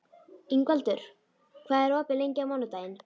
Ingvaldur, hvað er opið lengi á mánudaginn?